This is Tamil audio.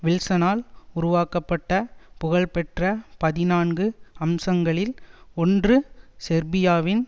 வில்சனால் உருவாக்கப்பட்ட புகழ்பெற்ற பதினான்கு அம்சங்களில் ஒன்றுசேர்பியாவின்